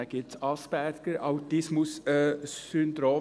dann gibt es Asperger-Autismus-Syndrom.